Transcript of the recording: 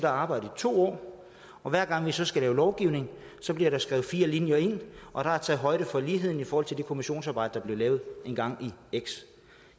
og arbejde i to år og hver gang vi så skal lave lovgivning bliver der skrevet fire linjer ind og der er taget højde for ligheden i forhold til det kommissionsarbejde der blev lavet engang i år x